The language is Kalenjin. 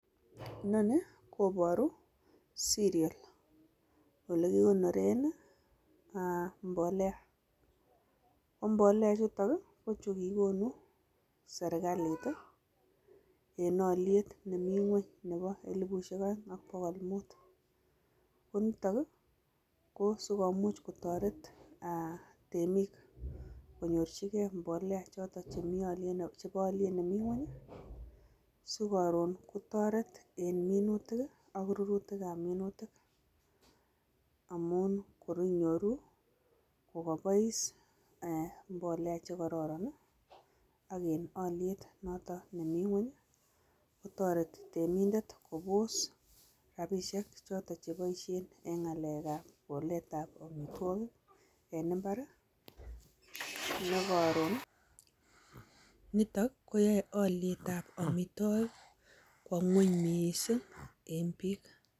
Inoni koporu cereal olekikonoren, mbolea. Ko mbolea chutok, chegigonu serikalit en oliet nemi ngweny. Nebo elipusyek oeng' ak bokol muut. Ko nitok, ko sikomuch kotoret temik, konyorchike mbolea chotok, chepo olyet nemi ngweny, sikoron kotoret en minutik, ak rurutik ab minutik. Amun kor inyoru, kokobois mbolea chekororon, ak en olyet nemi ng'weny. Kotoreti temindet kobos rapisiek chotok cheiboisien en ng'alek ab kolet ab omitwogik en imbar, nekoron nitok, koyoe olyet ab omitwogik kwo ng'weny mising en piik.